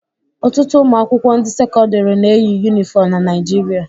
Ọtụtụ ụmụakwụkwọ ndị sekọndịrị na-eyi yunifọm na Naịjirịa